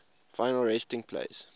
final resting place